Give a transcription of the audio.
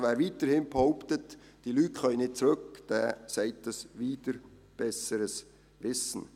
Wer weiterhin behauptet, diese Leute könnten nicht zurückkehren, sagt dies wider besseres Wissen.